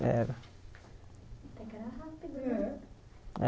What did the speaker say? Era